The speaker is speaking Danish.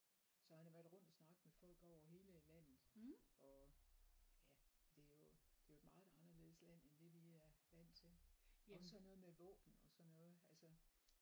Så han har været rundt og snakke med folk over hele landet og ja og det er jo det er jo et meget anderledes land end det vi er vant til også sådan noget med våben og sådan noget altså